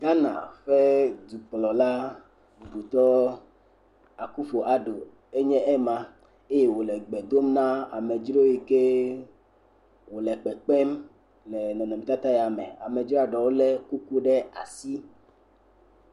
Ghana ƒe dukplɔla Akuffo Addoe nye ema eye wòle gbe dom na amedzro yi ke wòle kpekpem le nɔnɔmetata ya me. Amedzroa ɖewo lé kuku ɖe asi.